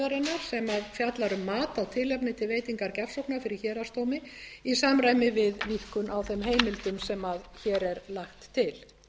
fjallar um mat á tilefni til veitingar gjafsóknar fyrir héraðsdómi í samræmi við rýmkun á þeim heimildum sem hér er lagt til